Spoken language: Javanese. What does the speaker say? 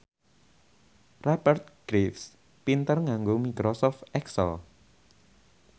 Rupert Graves pinter nganggo microsoft excel